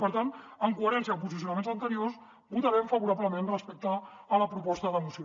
per tant en coherència amb posicionaments anteriors votarem favorablement respecte a la proposta de moció